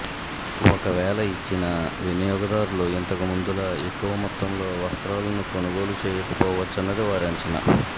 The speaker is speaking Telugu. ఒకవేళ ఇచ్చినా వినియోగదారులు ఇంతకుముందులా ఎక్కువ మొత్తంలో వస్త్రాలను కొనుగోలు చేయకపోవచ్చన్నది వారి అంచనా